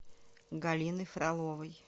галиной фроловой